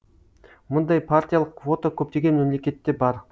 мұндай партиялық квота көптеген мемлекетте бар